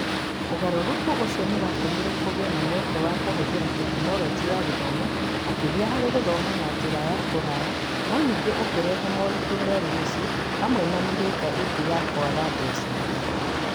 Ũgarũrũku ũcio nĩ watũmire kũgĩe na mweke wa kũhũthĩra Tekinoronjĩ ya Gĩthomo makĩria harĩ gũthoma na njĩra ya kũraya no ningĩ ũkĩrehe moritũ merũ mĩciĩ hamwe na mĩhĩnga ĩngĩ ya kwaga mbeca.